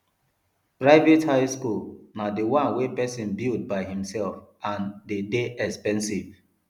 private high school na di one wey persin build by himself and de dey expensive